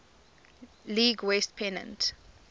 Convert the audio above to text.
league west pennant